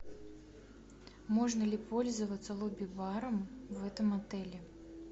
можно ли пользоваться лобби баром в этом отеле